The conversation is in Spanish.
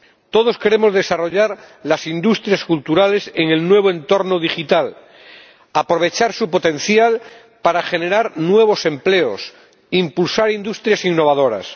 Todos queremos desarrollar las industrias culturales en el nuevo entorno digital, aprovechar su potencial para generar nuevos empleos, impulsar industrias innovadoras.